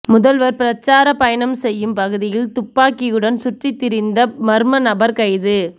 முதல்வர் பிரச்சார பயணம் செய்யும் பகுதியில் துப்பாக்கியுடன் சுற்றித்திரிந்த மர்ம நபர் கைது